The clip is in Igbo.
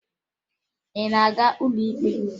Ị na-aga n'ụlọ ikpe?